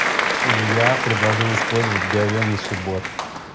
илья предложил использовать говеннийший бот